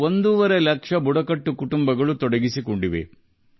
5 ಲಕ್ಷ ಬುಡಕಟ್ಟು ಕುಟುಂಬಗಳು ಅರಕು ಕಾಫಿ ಕೃಷಿಯೊಂದಿಗೆ ಸಂಬಂಧ ಹೊಂದಿವೆ